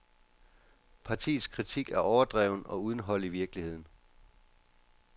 Partiets kritik er overdreven og uden hold i virkeligheden.